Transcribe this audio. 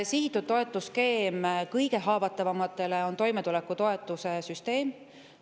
Sihitud toetuste skeem kõige haavatavamatele on toimetulekutoetuse süsteem.